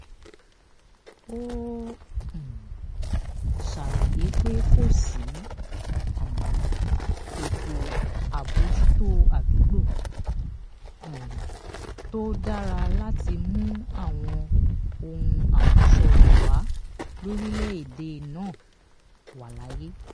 ó um ṣàròyé pé kò sí um ètò àbójútó àdúgbò um tó dára láti mú àwọn ohun àmúṣọrọ̀ wà lórílẹ̀-èdè náà wà láàyè.